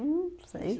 sei